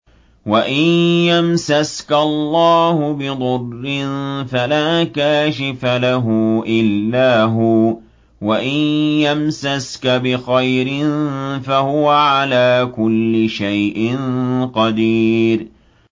وَإِن يَمْسَسْكَ اللَّهُ بِضُرٍّ فَلَا كَاشِفَ لَهُ إِلَّا هُوَ ۖ وَإِن يَمْسَسْكَ بِخَيْرٍ فَهُوَ عَلَىٰ كُلِّ شَيْءٍ قَدِيرٌ